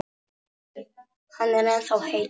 Hann er ennþá heitur.